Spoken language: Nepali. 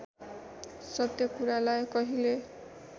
सत्य कुरालाई कहिले